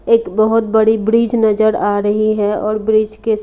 एक बहुत बड़ी ब्रिज नजर आ रही है और ब्रिज के--